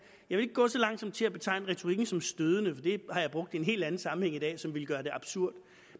gå så langt som til at betegne retorikken som stødende for det har jeg brugt i en helt anden sammenhæng i dag som ville gøre det absurd